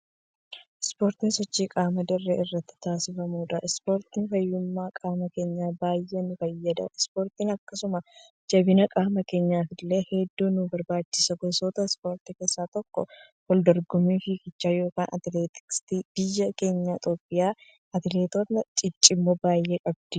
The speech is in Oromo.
Ispoortiin sochii qaamaa dirree irratti taasisufamuudha. Ispoortiin fayyummaa qaama keenyaaf baay'ee nu fayyada. Ispoortiin akkasuma jabina qaamaa keenyafillee hedduu nu barbaachisa. Gosoota ispoortii keessaa tokko waldorgommii figichaa yookiin atileetiksiiti. Biyyi keenya Itiyoophiyaan atileetota ciccimoo baay'ee qabdi.